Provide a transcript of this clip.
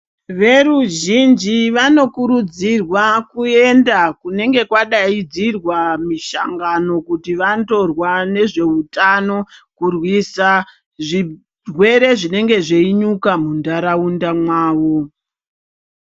Veruzhinji vanokurudzirwa kuenda kunenge kwadaidzirwa mishangano kuti vandorwa nezveutano, kurwisa zvirwere zvinenge zveinyuka muntaraunda mwavo.